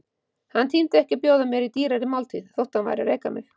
Hann tímdi ekki að bjóða mér í dýrari máltíð, þótt hann væri að reka mig.